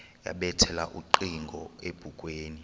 yabethela ucingo ebukhweni